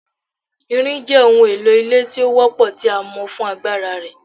Irin jẹ ohun elo ile ti o wọ́pọ ti a mọ fun agbara rẹ